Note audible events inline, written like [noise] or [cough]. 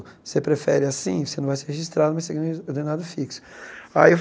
Se eu prefere assim, você não vou ser registrado, mas você ganha um [unintelligible] ordenado fixo. Aí eu